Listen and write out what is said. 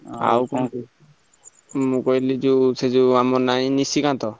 ମୁଁ କହିଲି ସେ ଯୋଉ ଆମର ଯୋଉ ନାହିଁ ନିସିକାନ୍ତ,